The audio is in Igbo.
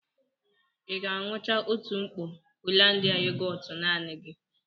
Ị ga-aṅucha otu mkpọ Hollandia yogọọtu naanị gị?